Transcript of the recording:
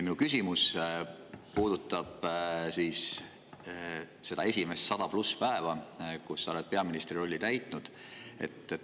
Minu küsimus puudutab seda esimest sadat pluss päeva, mil sa oled peaministri rolli täitnud.